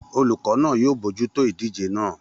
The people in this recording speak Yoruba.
.Olùkọ́ náà yóò bójútó ìdíje naa